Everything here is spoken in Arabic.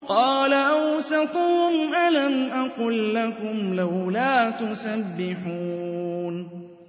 قَالَ أَوْسَطُهُمْ أَلَمْ أَقُل لَّكُمْ لَوْلَا تُسَبِّحُونَ